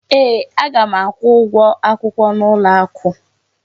Ee, aga m akwụ ụgwọ akwụkwọ n'ụlọ akụ.